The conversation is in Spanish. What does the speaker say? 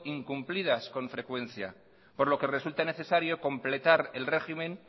incumplidas con frecuencia por lo que resulta necesario completar el régimen